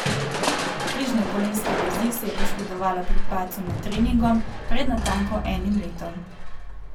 Križne kolenske vezi si je poškodovala pri padcu med treningom pred natanko enim letom.